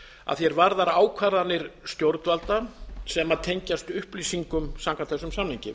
að því er varðar ákvarðanir stjórnvalda sem tengjast upplýsingum samkvæmt þessum samningi